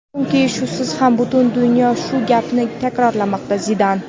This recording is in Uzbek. chunki shusiz ham butun dunyo shu gapni takrorlamoqda – Zidan.